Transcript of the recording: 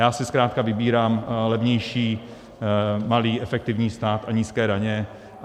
Já si zkrátka vybírám levnější, malý efektivní stát a nízké daně.